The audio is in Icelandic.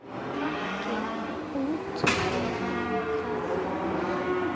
Ekki útiloka það.